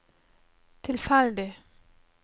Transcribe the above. tilfeldig